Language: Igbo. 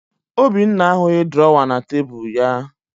Obinna ahụghị drọwa na tebulu ya